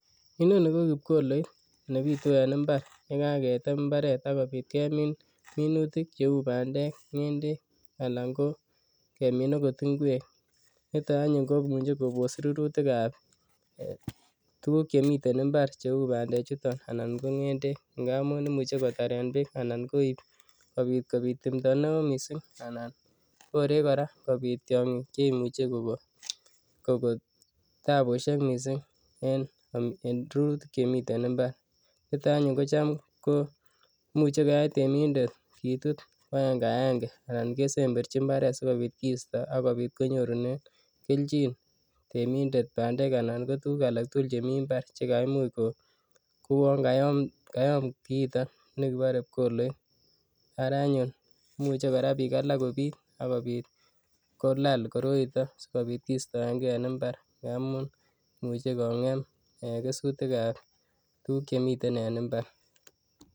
Inoni ko kipkoloit nebitu en imbar yekakotem imbaret ak kobit kemin minutik cheu bandek, ng'endek alan ko kemin okot ing'wek niton anyun komuche kobos rurutikab tukuk chemiten imbar cheuu bandechuton anan ko ng'endek ng'amun imuche kotaren beek anan koib kobit timndo neoo mising anan koree kobit tiong'ik cheimuche kokoo tabushek mising en rurutik chemiten imbar, niton anyun kotam komuche koyai temindet kitut ko akeng'akeng'e anan kesemberchi imbaret sikobit kisto ak kobit konyorunen kelchin temindet bandek anan ko tukuk alak tukul chemi mbar chekaimuch ko kouon kayom kiiton nikibore pkoloit, araa anyun imuche kora biik alak kopiit akobit kolal kora koroiton sikobit kistoeng'e en imbar ng'amun imuche kong'em eeh kesutikab tukuk chemiten en imbar.